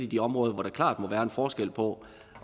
de områder hvor der klart må være en forskel på